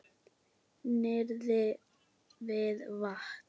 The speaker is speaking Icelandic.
Niðri við vatn?